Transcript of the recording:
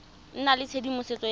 nna le tshedimosetso ya go